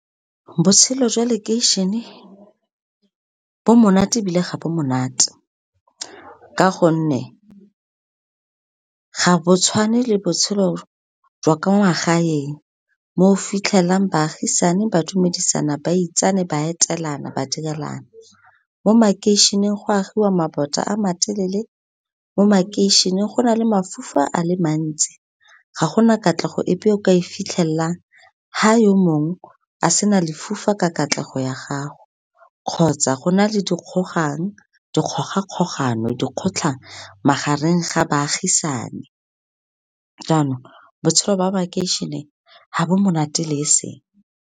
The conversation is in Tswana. Botshelo jwa lokeišene, bo monate ebile ga bo monate, ka gonne ga bo tshwane le botshelo jwa kwa magaeng, mo fitlhelang baagisane ba dumedisana, ba itsane, ba etelana, ba direlana. Mo makeišeneng, go agiwa mabota a matelele, mo makeišeneng go na le mafofa a le mantsi, ga gona katlego epe eo ka e fitlhelelang fa yo mongwe, a sena lefufa ka katlego ya gago kgotsa go na le dikgogang, dikgogakgogano, dikgotlhang magareng ga baagisane, jaanong botshelo ba makeišene ga bo monate le seng.